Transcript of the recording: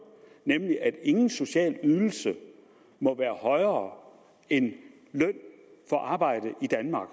nemlig at ingen social ydelse må være højere end løn for arbejde i danmark